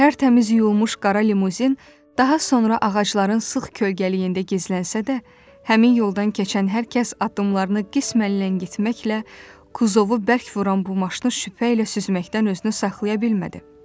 Tərtəmiz yuyulmuş qara limuzin daha sonra ağacların sıx kölgəliyində gizlənsə də, həmin yoldan keçən hər kəs addımlarını qismən ləngitməklə kuzovu bərk vuran bu maşını şübhə ilə süzməkdən özünü saxlaya bilmədi.